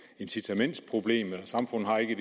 incitamentsproblem og samfundet har ikke